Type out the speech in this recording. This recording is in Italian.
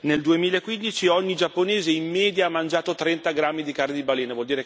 Nel 2015 ogni giapponese in media ha mangiato 30 grammi di carne di balena.